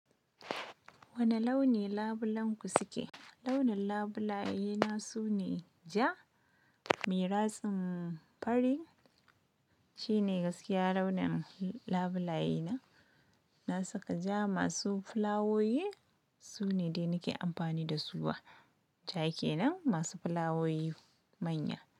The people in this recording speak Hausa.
Wane launi labulenku suke? Launin labulayena su ne ja, me ratsin fari. Shi ne gaskiya launin labulayena. Na saka ja masu fulawowi, su ne dai nake amfani da su a jake nan, masu fulawowi manya.